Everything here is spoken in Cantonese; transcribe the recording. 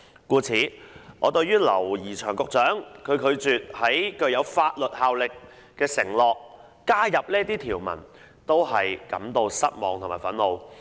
故此，對於劉怡翔局長拒絕加入這些條文，作出具有法律效力的承諾，我感到失望和憤怒。